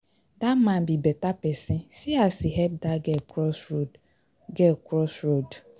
Dat man be beta person, see as he help dat girl cross road, girl cross road.